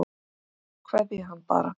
Kveðja hann bara.